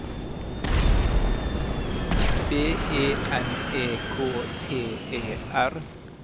B E N E K T E R